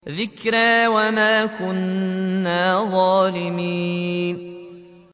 ذِكْرَىٰ وَمَا كُنَّا ظَالِمِينَ